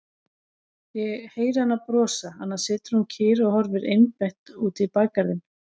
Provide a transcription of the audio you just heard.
Ég heyri hana brosa, annars situr hún kyrr og horfir einbeitt út í bakgarðinn.